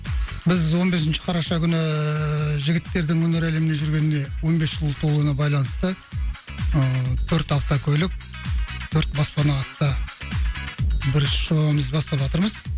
біз он бесінші қараша күні жігіттердің өнер әлеміне жүргеніне он бес жыл толуына байланысты ыыы төрт автокөлік төрт баспана атты бір іс жобамызды баставатырмыз